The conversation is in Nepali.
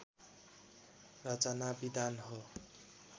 रचनाविधान हो